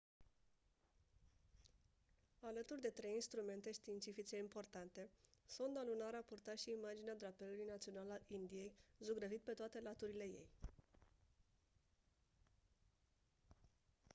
alături de trei instrumente științifice importante sonda lunară a purtat și imaginea drapelului național al indiei zugrăvit pe toate laturile ei